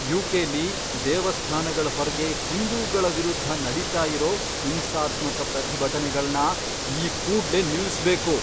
ಯು.ಕೆ.ಲಿ ದೇವಸ್ಥಾನಗಳ್ ಹೊರ್ಗೆ ಹಿಂದೂಗಳ ವಿರುದ್ಧ ನಡೀತಾ ಇರೋ ಹಿಂಸಾತ್ಮಕ ಪ್ರತಿಭಟನೆಗಳ್ನ ಈ ಕೂಡ್ಲೇ ನಿಲ್ಸ್ಬೇಕು.